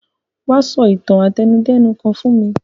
Wa so itan àtẹnudẹ́nu kan fún mi